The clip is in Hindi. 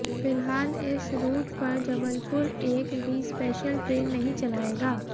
फिलहाल इस रूट पर जबलपुर एक भी स्पेशल ट्रेन नहीं चलाएगा